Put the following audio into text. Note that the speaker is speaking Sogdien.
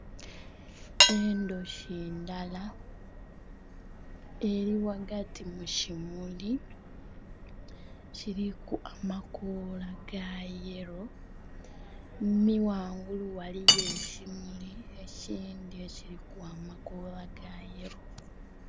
Endhoki ndala eri ghagati mu kimuli kiriku amakoola ga yello nhi ghangulu ghaligho ekimuli ekindhi ekiriku amakoola ga yello.